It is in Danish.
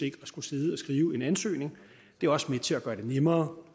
at skulle sidde og skrive en ansøgning det er også med til at gøre det nemmere